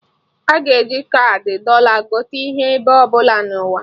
Aga e ji kaadị Dọla gote ihe ebe ọbụla nọ na ụwa